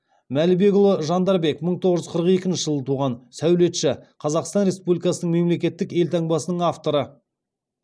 мәлібекұлы жандарбек мың тоғыз жүз қырық екінші жылы туған сәулетші қазақстан республикасы мемлекеттік елтаңбасының авторы